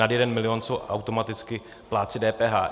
nad jeden milion jsou automaticky plátci DPH.